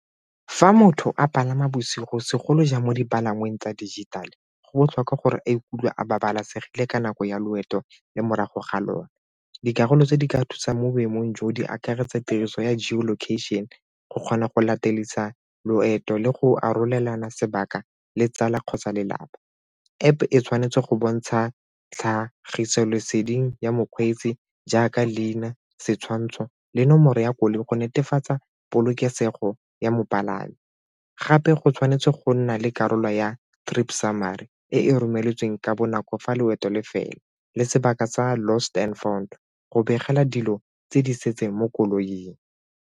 Fa motho a palama bosigo segolojang mo dipalangweng tsa dijithale go botlhokwa gore a ikutlwa a babalesegile ka nako ya loeto le morago ga lone, dikarolo tse di ka thusang mo boemong jo di akaretsa tiriso ya location go kgona go latedisa loeto le go arolelana sebaka le tsala kgotsa lelapa. App-e e tshwanetse go bontsha tlhagiso leseding ya mokgweetsi jaaka leina, setshwantsho le nomoro ya koloi go netefatsa polokesego ya mopalami gape go tshwanetse go nna le karolo ya trip summary e romeletseng ka bonako fa loeto le fela le sebaka sa lost and found go begela dilo tse di setseng mo koloing.